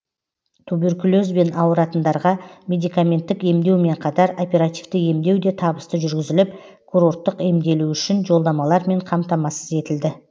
тубуркулезбен ауыратындарға медикаменттік емдеумен қатар оперативті емдеу де табысты жүргізіліп курорттық емделу үшін жолдамалармен қамтамасыз етілді